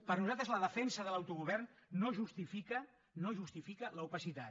per nosaltres la defensa de l’autogovern no justifica l’opacitat